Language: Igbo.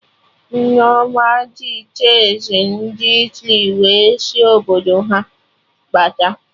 Nneoma ji cheezi ndị Italy wee sị Obodo ha bata